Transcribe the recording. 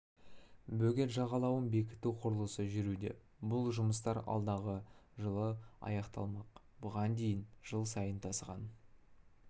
бөгет жағалауын бекіту құрылысы жүруде бұл жұмыстар алдағы жылы аяқталмақ бұған дейін жыл сайын тасыған